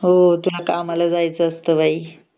हो तुला कामाला जायच असत न